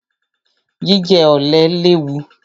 Jíjẹ ọ̀lẹ léwu.